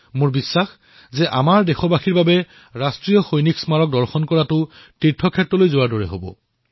মোৰ বিশ্বাস যে ই দেশবাসীৰ বাবে এক তীৰ্থস্থল হিচাপে বিবেচিত হব